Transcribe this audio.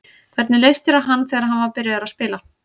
Hvernig leist þér á hann þegar hann var byrjaður að spila?